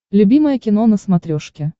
любимое кино на смотрешке